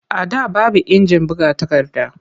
A da baby injin buga takarda.